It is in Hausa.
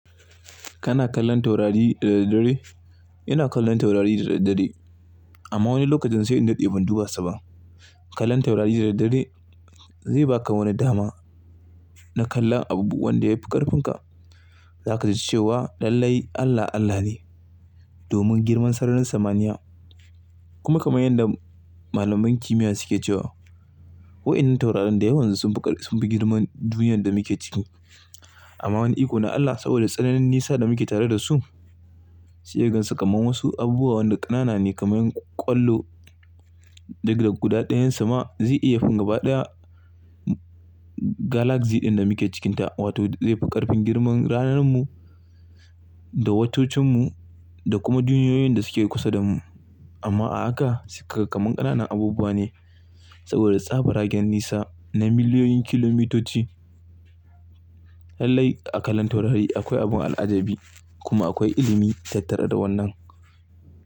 Kana kallon taurari dare dare? Ina kallon taurari dare dare amma wani lokacin sai in dade ban duba su ba. Kallon taurari dare dare zai baka wani dama na kalla abubuwan da yafi karfinka. Za ka ji cewa lallai Allah Allah ne domin girman sararin samaniya kuma kamar yadda malaman kimiyya suke cewa wa'inin taurarin da yawansu sun fi girman duniyar da muke ciki amma wani ikona Allah saboda tsananin nisa da muke tare da su. Seka gansu kamar wasu abubuwa wanda kanana ne kamar kwallo daga guda ɗayan sama zai iya fin gaba daya galaxy din da muke cikinta wato zai fi ƙarfin girman ranar mu da watocan mu da kuma duniyoyin da suke kusa da mu amma a haka su kamakanana abubuwa ne saboda tsabar hagen nisa na miliyoyin kilomitoci. Lallai a kallon taurari akwai abun al'ajabi kuma akwai ilimi tattare da wannan.